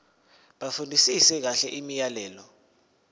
bafundisise kahle imiyalelo